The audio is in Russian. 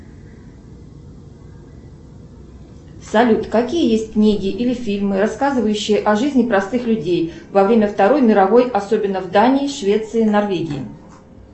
салют какие есть книги или фильмы рассказывающие о жизни простых людей во время второй мировой особенно в дании швеции норвегии